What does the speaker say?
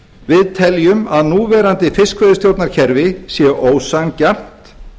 við teljum að núverandi fiskveiðistjórnarkerfi sé ósanngjarnt